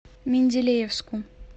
менделеевску